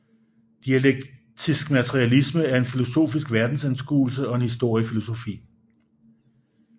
Dialektisk materialisme er en filosofisk verdensanskuelse og en historiefilosofi